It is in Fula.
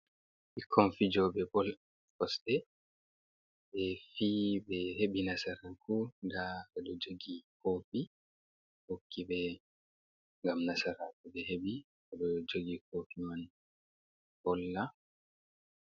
Ɓikkon fijooɓe bol kosɗe ɓe fi ɓe hebi nasaraku daa do jogi kofi hokki ɓe gam nasaraku ɓe heɓi do jogi kofi man polla.